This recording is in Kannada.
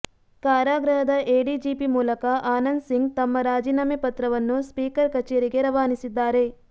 ಕಾರಾಗೃಹದ ಎಡಿಜಿಪಿ ಮೂಲಕ ಆನಂದ್ ಸಿಂಗ್ ತಮ್ಮ ರಾಜೀನಾಮೆ ಪತ್ರವನ್ನು ಸ್ಪೀಕರ್ ಕಚೇರಿಗೆ ರವಾನಿಸಿದ್ದಾರೆ